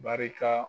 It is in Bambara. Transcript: Barika